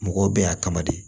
Mɔgɔw bɛ yan kama de